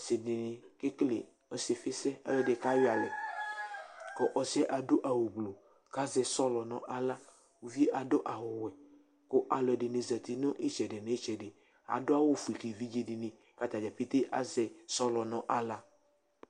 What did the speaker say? asi di ni kekele ɔsifisɛ, alu ɛdini ka yɔ alɛ, ku ɔsiɛ adu awu gblu, ku azɛ sɔlɔ nu aɣla, uvie adu awu wɛ, ku alu ɛdini zati nu itsɛdi nu inetsedi, adu awu fue ku evidze di ni ku ata dza pete asɛ sɔlɔ nu aɣla